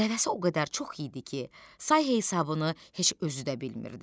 Dəvəsi o qədər çox idi ki, say-hesabını heç özü də bilmirdi.